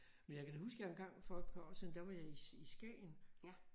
Men jeg kan da huske jeg engang for et par år siden der var jeg i i Skagen